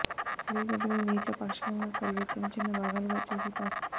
clay గడ్డలూ నీటిలో పాక్షికంగా కరిగే చిన్న చిన్న భాగాలుగా చేసి పాస్